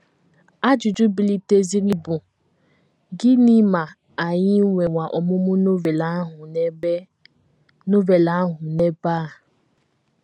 Ajụjụ biliteziri bụ: “ Gịnị ma anyị nwewa ọmụmụ Novel ahụ n’ebe Novel ahụ n’ebe a? ”